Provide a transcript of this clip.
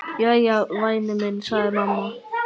Jæja, væni minn, sagði mamma.